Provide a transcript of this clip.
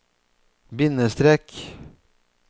bindestrek